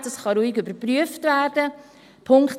Dies kann ruhig überprüft werden.